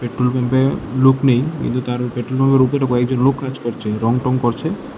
Petrol পাম্পে লোক নেই কিন্তু তার উপরে পেট্রোল পাম্পের উপরে কয়েকজন লোক কাজ করছে রং টং করছে।